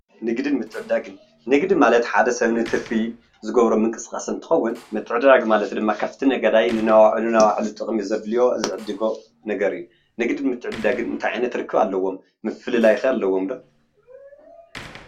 ንግድን ምትዕድዳግን፡- ንግዲ ማለት ሓደ ሰብ ንትርፊ ዝገብሮ ምንቅስቃስ እንትከውን፣ ምትዕድዳግ ማለት ድማ ካብቲ ነጋዳይ ንናይ ባዕሉ ጥቅሚ ዘድልዮ ዝዕድጎ ነገር እዩ፡፡ ንግድን ምትዕድዳግን እንታይ ዓይነት ርክብ ኣለዎም? ምፍልላይ ከ ኣለዎም ዶ ?